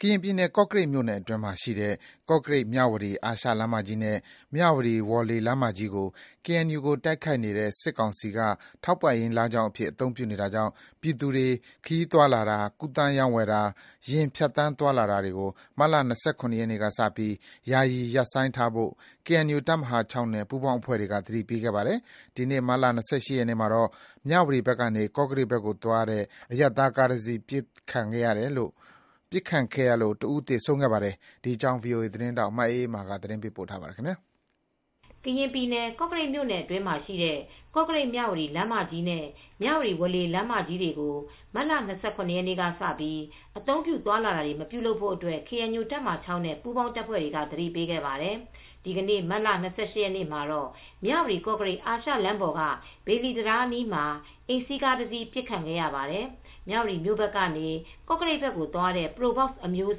ကရင်ပြည်နယ် ကော့ကရိတ်မြိုနယ်အတွင်းမှာရှိတဲ့ ကော့ကရိတ်-မြဝတီ အာရှလမ်းမကြီးနဲ့ မြဝတီ-ဝေါ်လေ လမ်းမကြီးတွေကို KNU နဲ့တိုက်ခိုက်နေတဲ့စစ်ကောင်စီက ထောက်ပံ့ရေးလမ်းကြောင်းအဖြစ် အသုံးပြုနေတာကြောင့် ပြည်သူတွေ ခရီးသွားလာတာ၊ ကူသန်းရောင်းဝယ်တာ ယာဉ်ဖြတ်သန်းသွာလာတာကို မတ်လ ၂၇ နေ့ ကစပြီး ယာယီရပ်ဆိုင်းထားဖို့ KNU တပ်မဟာ (၆) နဲ့ ပူးပေါင်းအဖွဲ့တွေက သတိပေးခဲ့ပါတယ်။ ဒီနေ့ မတ်လ ၂၈ ရက်နေ့မှာတော့ မြဝတီဘက်ကနေ ကော့ကရိတ်ဘက်ကိုသွားတဲ့ အရပ်သားကားတစီး ပစ်ခတ်ခံရလို့ တဦး သေဆုံးခဲ့ပါတယ် ဒီသတင်းကို ဗွီအိုအေသတင်းထောက် မအေးအေးမာက သတင်းပေးပို့ထားပါတယ်။ ကရင်ပြည်နယ် ကော့ကရိတ်မြို့နယ်အတွင်းမှာရှိတဲ့ ကော့ကရိတ်-မြဝတီလမ်းမကြီးနဲ့ မြဝတီ-ဝေါ်လေလမ်းမကြီးတွေကို မတ်လ ၂၇ ရက်ကစပြီး အသုံးပြုသွားလာခြင်း မပြုပါနဲ့လို့ KNU တပ်မဟာ (၆) နဲ့ ပူးပေါင်းအဖွဲ့တွေက သတိပေးခဲ့ပါတယ်။ ဒီနေ့မတ်လ ၂၈ ရက်မှာတော့ မြဝတီ-ကော့ကရိတ် အာရှလမ်းပေါ်က ဘေလီတံတားအနီးမှာ အိမ်စီးကားတစီးပစ်ခံရပါတယ် မြဝတီဘက်ကနေ ကော့ကရိတ်ဘက်ကိုသွားတဲ့ Probox အမျိုးအ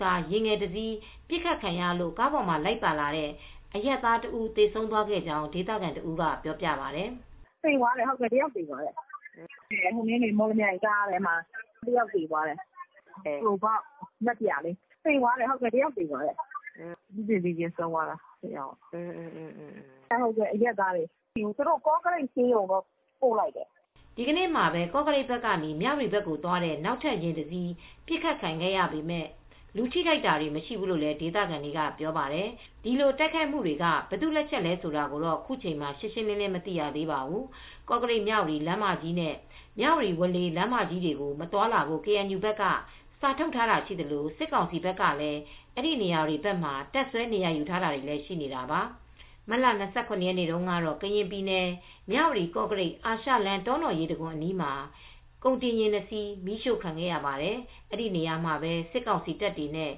စားယဉ်ငယ်တစီး ပစ်ခတ်ခံရလို့ ကားပေါ်မှာလိုက်ပါလာတဲ့ အရပ်သားတဦးသေဆုံးသွားခဲ့ကြောင်း ဒေသခံတဦးကပြောပြပါတယ်။ “သေသွားတယ်။ တယောက်ထိသွားတယ်။ မော်လမြိုင်ကားလို့ပြောတယ်။ ပရိုဘောက် က်-စ် ကား။ နက်ပြာလေးနဲ့ တယောက်သေသွားတယ်။ အရပ်သားပါ။ ကော့ကရိတ်ဆေးရုံကိုတော့ ပို့လိုက်တယ်။” ဒီနေ့မှာပဲ ကော့ကရိတ်ဘက်ကနေ မြဝတီဘက်ကိုသွားတဲ့ နောက်ထပ် ယာဉ်တစ်စီးပစ်ခတ်ခံရပေမယ့် လူထိခိုက်တာတော့ မရှိဘူးလို့ဒေသခံတွေကပြောပါတယ်။ ဒီတိုက်ခိုက်မှုတွေက ဘယ်သူ့လက်ချက်လဲဆိုတာ ခုချိန် မှာ ရှင်းရှင်း မသိရသေးပါဘူး။ ကော့ကရိတ်-မြဝတီ လမ်းမကြီးနဲ့ မြဝတီ-ဝေါ်လေလမ်းမကြီးတွေကို မသွားလာဖို့ ကေအန်ယူဘက်က စာထုတ် ထားတာရှိသလို စစ်ကောင်စီဘက်ကလည်း အဲဒီနေရာတွေဘက်မှာ တပ်စွဲနေရာယူထားတာရှိနေတာပါ။ မတ်လ ၂၇ ရက်နေ့တုန်းကတော့ ကရင်ပြည်နယ် မြဝတီ-ကော့ကရိတ် အာရှလမ်း တောနော်ရေတံခွန်နားမှာ ကုန်တင်ယာဉ် ၂ စီးမီးရှို့ခံရပါတယ်။ အဲဒီနေရာတွေမှာပဲ စစ်ကောင်စီတပ်တွေနဲ့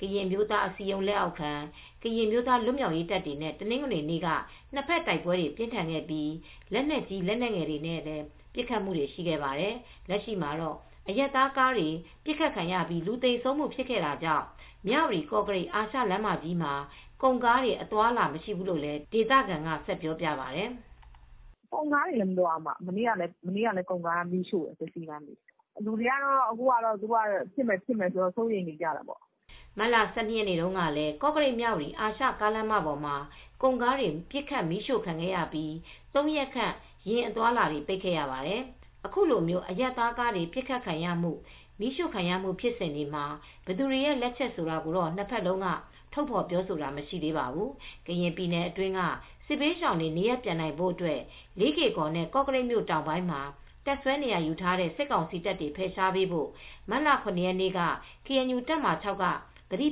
ကရင်အမျိုးသားအစည်းအရုံး လက်အောက်ခံ ကရင်အမျိုးသားလွတ်မြောက်ရေးတပ်တွေနဲ့ တနင်္ဂနွေနေ့က နှစ်ဘက်တိုက်ပွဲတွေ ပြင်းထန်ခဲ့ပြီး လက်နက်ကြီး လက်နက်ငယ်တွေနဲ့ ပစ်ခတ်ခဲ့ကြပါတယ်။ လက်ရှိမှာတော့ အရပ်သားကားတွေပစ်ခတ်ခံရပြီးလူသေဆုံးခဲ့တာကြောင့် မြဝတီ-ကော့ကရိတ် အာရှလမ်းမကြီးမှာ ကုန်ကားတွေ အသွားအလာမရှိဘူးလို့လည်း ဒေသခံက ဆက်ပြောပြပါတယ်။ “ကုန်ကားတွေလည်းမသွားဘူး။ မနေ့ကလည်း ကုန်ကားတွေမီးရှို့တယ်။ လူတွေက အခုကတော့ သူတို့က ပစ်မယ် ပစ်မယ်ပြောနေတော့ စိုးရိမ်နေကြတာပေါ့။” မတ်လ ၁၂ ရက်နေ့တုန်းကလည်း ကော့ကရိတ်-မြဝတီ အာရှကားလမ်းမပေါ်မှာ ကုန်ကားတွေ ပစ်ခတ်မီးရှို့ခံခဲ့ရပြီး ၃ ရက်ခန့် ယာဉ် အသွားအလာတွေပိတ်ခဲ့ရပါတယ်။ အခုလို အရပ်သားကားတွေ ပစ်ခတ်ခံရမှု၊ မီးရှို့ခံရမှု ဖြစ်စဉ်တွေမှာ ဘယ်သူတွေရဲ့လက်ချက်ဆိုတာကိုတော့ နှစ်ဘက်လုံးက ထုတ်ဖော်ပြောဆိုတာမရှိသေးပါဘူး။ ကရင်ပြည်နယ်အတွင်းက စစ်ဘေးရှောင်တွေနေရပ်ပြန်နိုင်ဖို့အတွက် လေးကေ့ကော်နဲ့ ကော့ကရိတ်မြို့တောင်ပိုင်းမှာ တပ်စွဲနေရာယူထားတဲ့ စစ်ကောင်စီတပ်တွေ ဖယ်ရှားပေးဖို့ မတ်လ ၇ ရက်နေ့က ကေအန်ယူ တပ်မဟာ (၆) က သတိ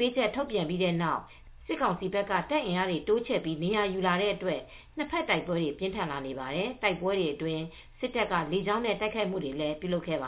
ပေးချက်ထုတ်ခဲ့ပြီးတဲ့နောက် စစ်ကောင်စီဘက်က တပ်အင်အားတွေတိုးချဲ့ပြီး နေရာယူလာတဲ့အတွက် နှစ်ဖက်တိုက်ပွဲတွေ ပြင်းထန်လာနေပါတယ်။ တိုက်ပွဲတွေအတွင်း စစ်တပ်က လေကြောင်းနဲ့ တိုက်ခိုက်မှုတွေကိုလည်ူး ပြုလုပ်ခဲ့ပါ